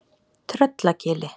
Tröllagili